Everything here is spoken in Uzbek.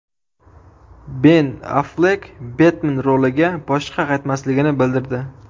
Ben Afflek Betmen roliga boshqa qaytmasligini bildirdi.